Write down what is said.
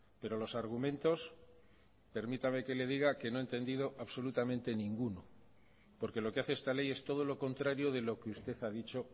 pero los argumentos permítame que le diga que no he entendido absolutamente ninguno porque lo que hace esta ley es todo lo contrario de lo que usted ha dicho